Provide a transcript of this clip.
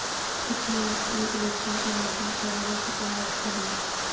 کتنے وقت میں الیکشن کمیشن کرے گا شکایت کوحل